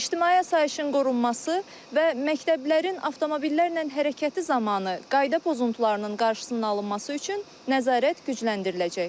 İctimai asayişin qorunması və məktəblərin avtomobillərlə hərəkəti zamanı qayda pozuntularının qarşısının alınması üçün nəzarət gücləndiriləcək.